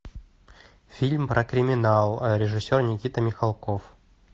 фильм про криминал режиссер никита михалков